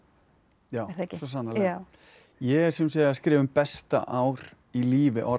já svo sannarlega ég er að skrifa um besta ár í lífi Orra